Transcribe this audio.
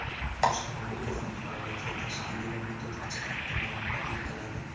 Boshqarma markazlar faoliyatiga tashkiliy va metodik jihatdan rahbarlik qiladi.